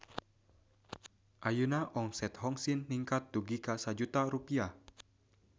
Ayeuna omset Hong Sin ningkat dugi ka 1 juta rupiah